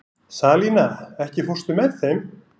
Salína, ekki fórstu með þeim?